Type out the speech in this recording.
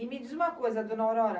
E me diz uma coisa, dona Aurora.